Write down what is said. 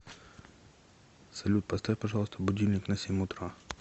салют поставь пожалуйста будильник на семь утра